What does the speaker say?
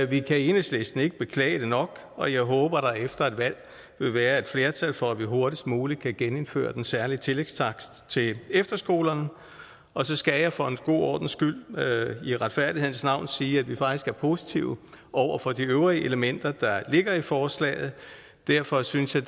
vi kan i enhedslisten ikke beklage det nok og jeg håber at der efter et valg vil være et flertal for at vi hurtigst muligt kan genindføre den særlige tillægstakst til efterskolerne og så skal jeg for en god ordens skyld i retfærdighedens navn sige at vi faktisk er positive over for de øvrige elementer der ligger i forslaget derfor synes jeg